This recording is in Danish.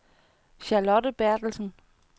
Charlotte Bertelsen